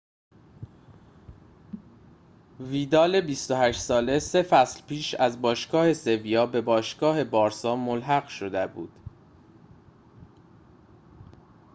ویدال ۲۸ ساله سه فصل پیش از باشگاه سِویا به باشگاه بارسا ملحق شده بود